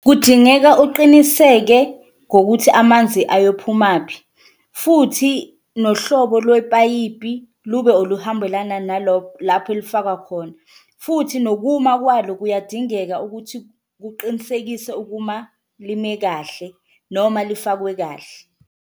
Kudingeka uqiniseke ngokuthi amanzi ayophumaphi futhi nohlobo lwepayipi lube oluhambelana lapho elifakwa khona, futhi nokuma kwalo kuyadingeka ukuthi kuqinisekise ukuma lime kahle noma lifakwe kahle.